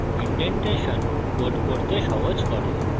indentation code পড়তে সহজ করে